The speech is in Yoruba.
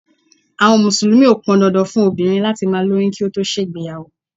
Àwọn Mùsùlùmí o pọn dandan fún obìnrin láti má lóyún kí ó tó ṣe ìgbéyàwó.